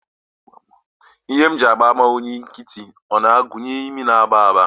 Ihe mgbaàmà oyi nkịtị o na-agụnye imi na-agba agba?